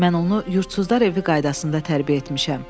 Mən onu yurdsuzlar evi qaydasında tərbiyə etmişəm.